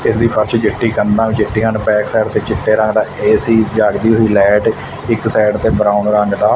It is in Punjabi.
ਇਸਦੀ ਫ਼ਰਸ਼ ਚਿੱਟੀ ਕੰਧਾਂ ਵੀ ਚਿੱਟੀਆਂ ਨੇਂ ਬੈਕਸਾਈਡ ਤੇ ਚਿੱਟੇ ਰੰਗ ਦਾ ਏ_ਸੀ ਜਾਗਦੀ ਹੋਈ ਲਾਈਟ ਇੱਕ ਸਾਈਡ ਤੇ ਬਰਾਊਨ ਰੰਗ ਦਾ--